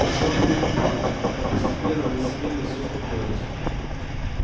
пришёл период упадка но постепенно на сивенне все успокоилось